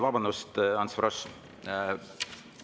Vabandust, Ants Frosch!